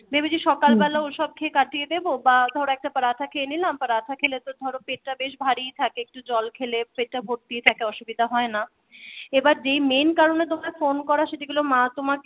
ভেবেছি সকাল বেলা ওসব খেয়ে কাটিয়ে দেবো বা ধরো একটা পারাঠা খেয়ে নিলাম । পরোটা খেলে তো ধরো পেটটা বেশ ভারীই থাকে একটু জল খেলে পেটটা ভর্তিই থাকে অসুবিধা হয় না এবার যেই main কারণে তোমায় ফোন করা সেগুলো মা তোমাকে বললো